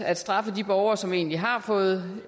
at straffe de borgere som egentlig har fået